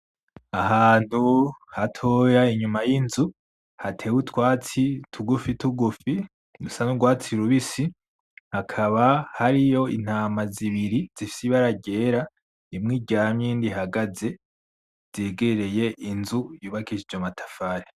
Ahantu hatoya inyuma y'inzu hatewe utwatsi tugufi tugufi rusa n'urwatsi rubisi, hakaba hariyo intama zibiri zifise ibara ryera, imwe iryamye indi ihagaze zegereye inzu y'ubakishijwe amatafari.